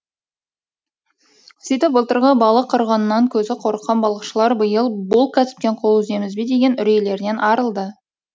сөйтіп былтырғы балық қырғынынан көзі қорыққан балықшылар биыл бұл кәсіптен қол үземіз бе деген үрейлерінен арылды